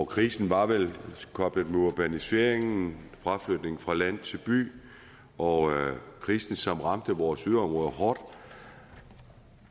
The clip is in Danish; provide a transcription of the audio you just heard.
krisen var vel koblet på urbaniseringen fraflytningen fra land til by og krisen som ramte vores yderområder hårdt